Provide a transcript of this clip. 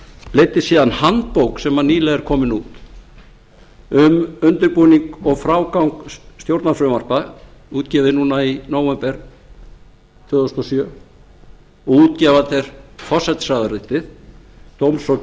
leiddi síðan handbók sem er nýlega komin út um undirbúning og frágang stjórnarfrumvarpa útgefið núna í nóvember tvö þúsund og sjö og útgefandi er forsætisráðuneytið dóms og